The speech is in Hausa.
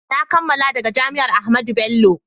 na kammala daga jami'an Ahmadu Bello